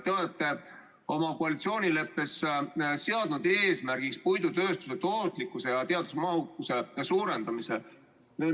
Te olete oma koalitsioonileppes seadnud eesmärgiks puidutööstuse tootlikkuse ja teadusmahukuse suurendamise.